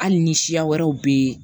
Hali ni siya wɛrɛw bɛ yen